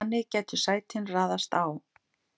þannig gætu sætin raðast á